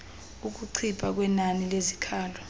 ukuncipha kwenani lezikhalo